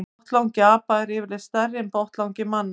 Botnlangi apa er yfirleitt stærri en botnlangi manna.